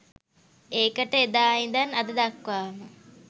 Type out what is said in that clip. ඒකට එදා ඉඳන් අද දක්වාම